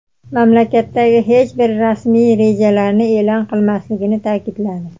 mamlakatdagi hech bir rasmiy rejalarni e’lon qilmasligini ta’kidladi.